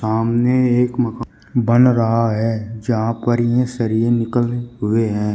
सामने एक मका बन रहा है जहां पर ये निकले हुए हैं।